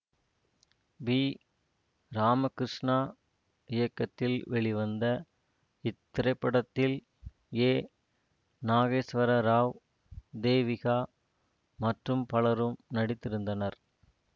B Ramakrishna இயக்கத்தில் வெளிவந்த இத்திரைப்படத்தில் ஏ நாகேஸ்வர ராவ் தேவிகா மற்றும் பலரும் நடித்திருந்தனர்